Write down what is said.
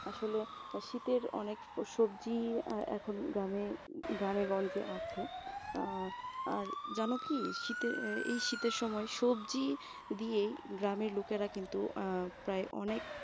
আসলে শীতের অনেক সবজি এখন গ্রামে গ্রামে গঞ্জে আছে, অ্যাঁ আর জানো কি শীতের এই শীতের সময় সবজি দিয়েই গ্রামের লোকেরা কিন্তু আহ প্রায় অনেক